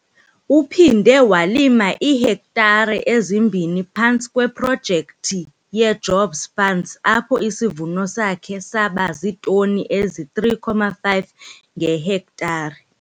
Uphinde walima iihektare ezimbini phantsi kweProjekthi yeJobs Fund apho isivuno sakhe saba ziitoni ezi-3,5 ngehektare.